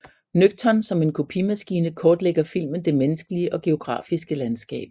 Nøgtern som en kopimaskine kortlægger filmen det menneskelige og geografiske landskab